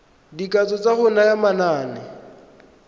dikatso tsa go naya manane